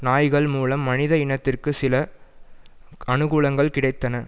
நாய்கள் மூலம் மனித இனத்திற்கு சில அனுகூலங்கள் கிடைத்தன